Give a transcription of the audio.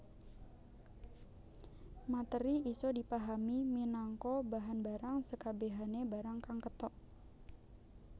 Materi isa dipahami minangka bahan barang sekabehane barang kang ketok